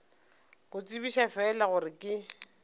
go tsebiša fela gore ke